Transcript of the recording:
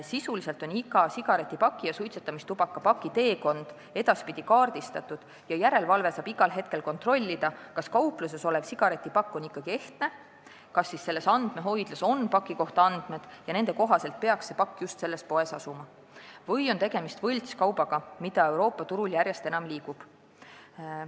Sisuliselt on iga sigaretipaki ja suitsetamistubakapaki teekond edaspidi kaardistatud ja järelevalve tegijad saavad igal hetkel kontrollida, kas kaupluses olev sigaretipakk on ikka ehtne, kas andmehoidlas on paki kohta andmed ja nende andmete kohaselt peaks see pakk just selles poes asuma või on tegemist võltskaubaga, mida Euroopa turul järjest enam liigub.